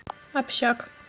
общак